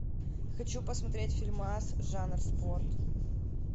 хочу посмотреть фильмас жанр спорт